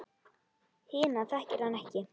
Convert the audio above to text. Hina þekkir hann ekki.